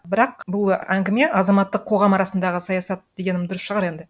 бірақ бұл әңгіме азаматтық қоғам арасындағы саясат дегенім дұрыс шығар енді